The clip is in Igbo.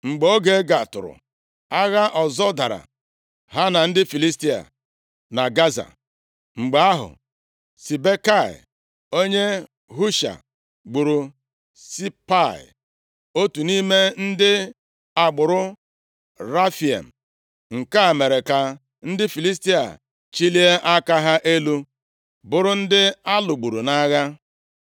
Mgbe oge gatụrụ, agha ọzọ daara ha na ndị Filistia, na Gaza. Mgbe ahụ, Sibekai, onye Husha, gburu Sipai, otu nʼime ndị agbụrụ Refaim. Nke a mere ka ndị Filistia chilie aka ha elu, bụrụ ndị a lụgburu nʼagha.